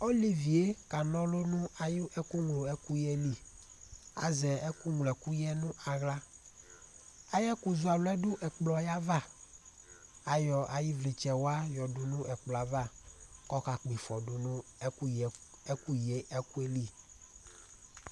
Ɔlevi ye kana ɔlu nʋ ayʋ ɛkʋ nylo ɛkʋ yɛ li Azɛ ɛkʋ nylo ɛkʋ yɛ nʋ aɣla Ayʋ ɛkʋ zɔ alu yɛ du ɛkplɔ yɛ ava Ayɔ ayʋ ivlitsɛ wa yɔ yadu nʋ ɛkplɔ ava kʋ ɔka kpɔ ifɔ du nʋ ɛkʋ yi ɛkʋ yɛ li